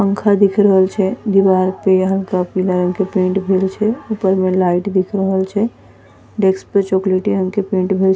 पंखा दिख रहल छे दीवार पे हल्का पीला रंग के पेंट भइल छे ऊपर में लाइट दिख रहल छे डेस्क पे चाॅकलेटी रंग के पेंट भइल --